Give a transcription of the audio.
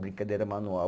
Brincadeira manual.